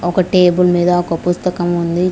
ఒక టేబుల్ మీద ఒక పుస్తకం ఉంది.